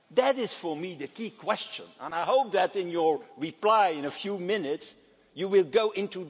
That is, for me, the key question and I hope that in your reply in a few minutesʼ time you will go into it.